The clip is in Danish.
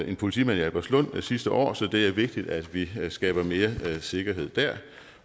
en politimand i albertslund sidste år så det er vigtigt at vi skaber mere sikkerhed der